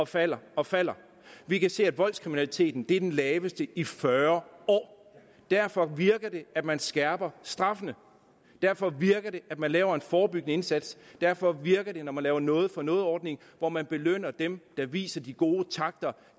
falder og falder vi kan se at voldskriminaliteten er den laveste i fyrre år derfor virker det at man skærper straffene derfor virker det at man laver en forebyggende indsats derfor virker det når man laver en noget for noget ordning hvor man belønner dem der viser de gode takter